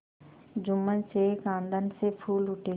जुम्मन शेख आनंद से फूल उठे